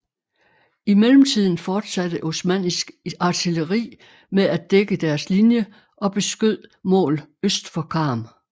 I mellemtiden fortsatte osmannisk artilleri med at dække deres linje og beskød mål øst for Karm